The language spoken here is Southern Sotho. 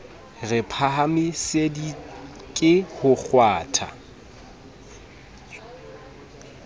re phahamisitswe ke ho kgwathwa